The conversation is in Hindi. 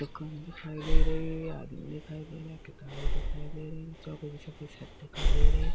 दुकान दिखाई दे रही है आदमी दिखाई दे रहा है किताबे दिखाई दे रहीं हैं की शर्ट दिखाई दे रही है।